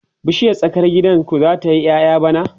bishiyar tsakar gidan ku zata yi ƴaƴa bana?